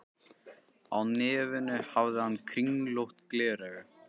Á nefinu hafði hann kringlótt gleraugu.